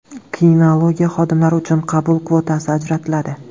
Kinologiya xodimlari uchun qabul kvotasi ajratiladi.